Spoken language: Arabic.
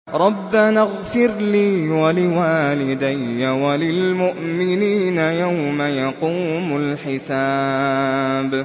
رَبَّنَا اغْفِرْ لِي وَلِوَالِدَيَّ وَلِلْمُؤْمِنِينَ يَوْمَ يَقُومُ الْحِسَابُ